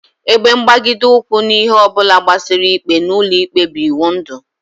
Ebe mgbagide ụkwụ n'ihe ọ bụla gbasara ikpe n'ụlọikpe bụ iwundu